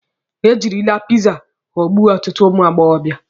E jirila piza ghọgbuo ọtụtụ ụmụ agbọbịa.